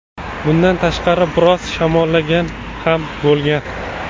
Bundan tashqari biroz shamollagan ham bo‘lgan.